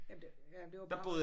Jamen det jamen det var bare